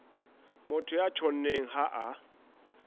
motho ya tjhonneng ha a